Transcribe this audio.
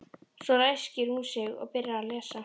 Svo ræskir hún sig og byrjar að lesa.